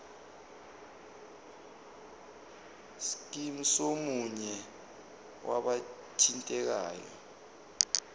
scheme somunye wabathintekayo